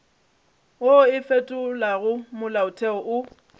wo o fetolago molaotheo o